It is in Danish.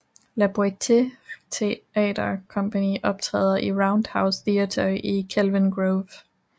La Boite Theatre Company optræder i Roundhouse Theatre i Kelvin Grove